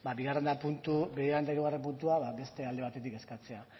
bigarren eta hirugarren puntua beste alde batetik eskatzea